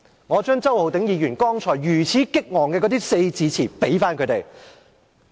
我將周浩鼎議員剛才激昂萬分的四字詞回贈他們。